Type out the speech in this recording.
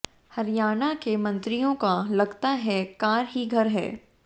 हरियाणा के मंत्रियों का लगता है कार ही घर है